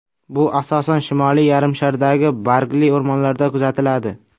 Bu asosan Shimoliy yarimshardagi bargli o‘rmonlarda kuzatiladi.